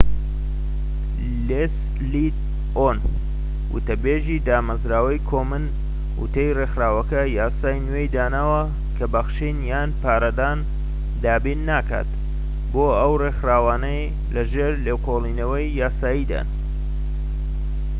لێسلی ئۆن وتەبێژی دامەزراوەی کۆمن وتی ڕێکخراوەکە یاسای نوێی داناوە کە بەخشین یان پارەدان دابین ناکات بۆ ئەو ڕێکخراوانەی لەژێر لێکۆڵینەوەی یاساییدان